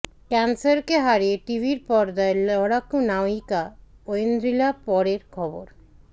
ক্যান্সারকে হারিয়ে টিভির পর্দায় লড়াকু নায়িকা ঐন্দ্রিলা পরের খবর